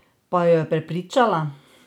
Pa jo je prepričala?